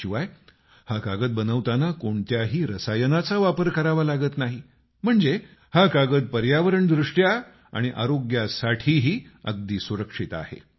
याशिवाय हा कागद बनवताना कोणत्याही रसायनाचा वापर करावा लागत नाही म्हणजे हा कागद पर्यावरण दृष्ट्या आणि आरोग्यासाठीही अगदी सुरक्षित आहे